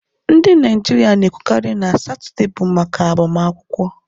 Ndị Naijiria na-ekwukarị na Satọde bụ maka agbamakwụkwọ